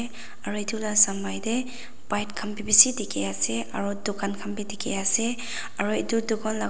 aru etu lah samai teh bike khan bhi bishi dikhi ase aru dukan khan bhi dikhi ase aru etu dukan laga--